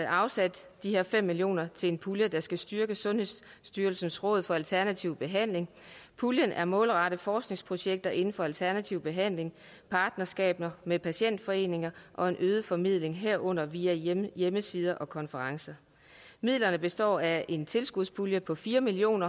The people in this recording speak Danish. afsat de her fem million kroner til en pulje der skal styrke sundhedsstyrelsens råd for alternativ behandling puljen er målrettet forskningsprojekter inden for alternativ behandling partnerskaber med patientforeninger og en øget formidling herunder via hjemmesider og konferencer midlerne består af en tilskudspulje på fire million